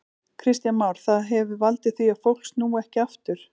Kristján Már: Það hefur valdið því að fólk snúi ekki aftur?